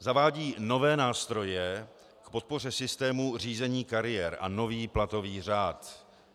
Zavádějí nové nástroje k podpoře systému řízení kariér a nový platový řád.